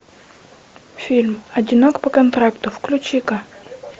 фильм одинок по контракту включи ка